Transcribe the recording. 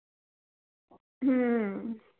हम्म